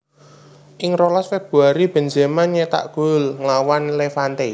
Ing rolas Februari Benzema nyétak gol nglawan Levante